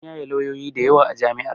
An yaye lawyoyi dayawa a jami'ar